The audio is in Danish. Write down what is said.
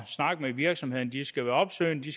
snakke med virksomhederne de skal være opsøgende de